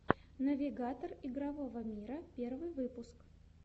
навигатор игрового мира первый выпуск